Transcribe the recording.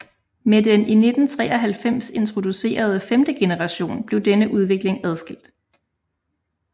Med den i 1993 introducerede femte generation blev denne udvikling adskilt